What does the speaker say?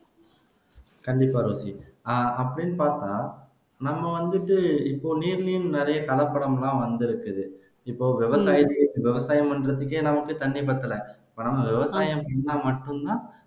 கண்டிப்பா ரோஸ்லி அ அப்படின்னு பாத்தா நம்ம வந்துட்டு இப்ப நீர்லையும் நிறைய கலப்படம் எல்லாம் வந்துருக்குது இப்போ விவசாயத்துக்கு விவசாயம் பண்றதுக்கே நமக்கு தண்ணி பத்தல இப்ப நம்ம விவசாயம் பண்ணுனா மட்டும்தான்